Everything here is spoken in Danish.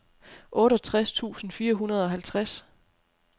otteogtres tusind fire hundrede og halvtreds